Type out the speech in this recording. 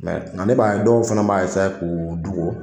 nka ne b'a ye dɔw fana b'a k'u dogo